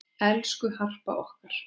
Elsku Harpa okkar.